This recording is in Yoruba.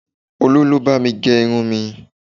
Olu ló bá mi gẹ irun mi